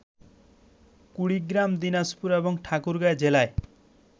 কুড়িগ্রাম, দিনাজপুর এবং ঠাকুরগাঁ জেলায়